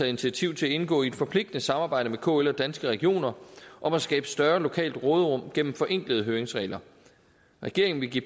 initiativ til at indgå i et forpligtende samarbejde med kl og danske regioner om at skabe større lokalt råderum gennem forenklede høringsregler regeringen vil give